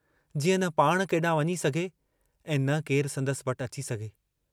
जीअं न पाण केडांहुं वंञी सघे ऐं न केरु संदसि वटि अची सघे।